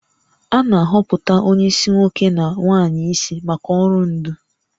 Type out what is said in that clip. A na-ahọpụta onye isi nwoke na nwanyị isi maka ọrụ ndu